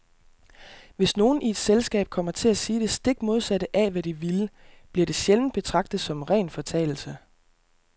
Hvis nogen i et selskab kommer til at sige det stik modsatte af, hvad de ville, bliver det sjældent betragtet som en ren fortalelse.